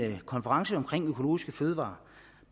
konference om økologiske fødevarer